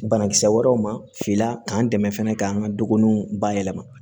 Banakisɛ wɛrɛw ma filanan dɛmɛ fɛnɛ k'an ka doninw bayɛlɛma